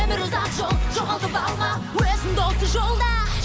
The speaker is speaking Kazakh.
өмір ұзақ жол жоғалтып алма өзіңді осы жолда